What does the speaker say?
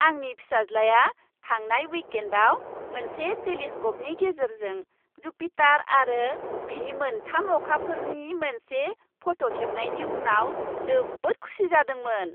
आंनि फिसाज्लाआ थांनाय विकएन्डआव मोनसे टेलिस्क'पनि गेजेरजों जुपिटार आरो बिनि मोनथाम अखाफोरनि मोनसे फट' खेबनायनि उनाव जोबोद खुसि जादोंमोन।